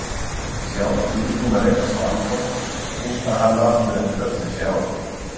Sjálf nýbúin að rekast á Anton, hitta hann aftur eftir öll þessi ár.